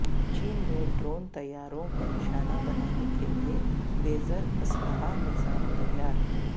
چین میں ڈرون طیاروں کو نشانہ بنانے کے لئے لیزر اسلحہ نظام تیار